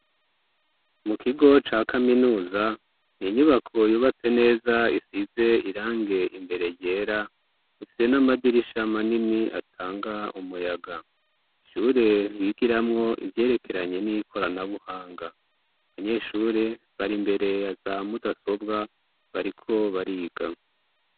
Mu kigo ca kaminuza, n'inyubako yubatse neza isize irangi imbere ryera; ifise n'amadirisha manini atanga umuyaga, ishure bigiramwo ivyerekeranye n'ikoranabuhanga, abanyeshure bari imbere yaza mudasobwa bariko bariga.